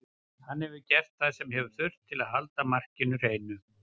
Hann hefur gert það sem hefur þurft til að halda markinu hreinu.